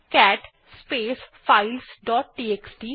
cat space files dot TXT